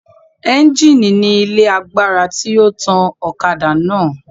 Ẹńjìnì ni ilé agbára tí ó tan ọ̀kadà náà